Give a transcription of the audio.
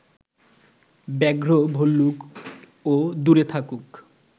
ব্যাঘ্র ভল্লুক ও দূরে থাকুক